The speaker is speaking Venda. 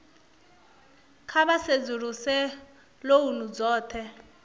kha vha sedzuluse lounu dzothe